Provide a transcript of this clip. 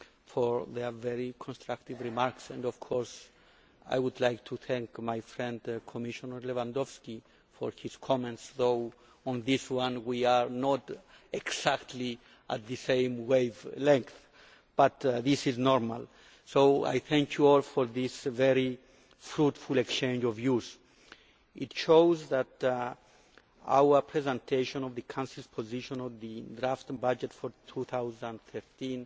for their very constructive remarks and, of course, I would like to thank my friend Commissioner Lewandowski for his comments even though on this one we are not exactly on the same wavelength, but that is normal so I thank you all for this very fruitful exchange of views. It shows that our presentation of the Council's position on the draft budget for 2013